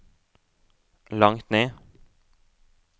langt ned